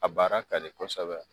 A baara ka di kɔsɛbɛ.